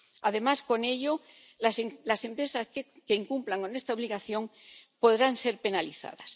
Además, con ello, las empresas que incumplan esta obligación podrán ser penalizadas.